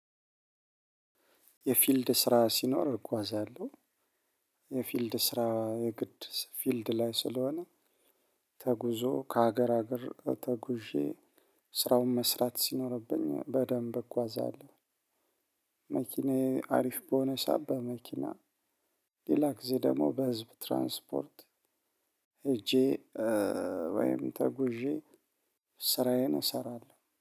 የፊልድ ስራ ሲኖር እጓዛለሁ። የፊልድ ስራ የግድ ፊልድ ላይ ስለሆነ ተጉዞ ከሀገር ሀገር ተጉዤ ስራውን መስራት ሲኖርብኝ በደንብ እጓዛለሁ መኪናዬ አሪፍ በሆነ ሰዓት መኪና ሌላ ጊዜ ደግሞ በህዝብ ትራንስፖርት ሄጄ ወይም ተጉዤ ስራዬን እሰራለሁ።